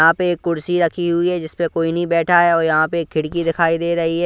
यहां पे एक कुर्सी रखी हुई है जिस पे कोई नहीं बैठा है और यहां पे एक खिड़की दिखाई दे रही--